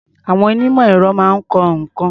Àwọn onímọ̀-èrọ máa ń kọ́ nǹkan.